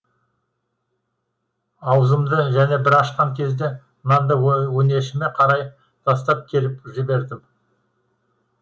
аузымды және бір ашқан кезде нанды өңешіме қарай тастап келіп жібердім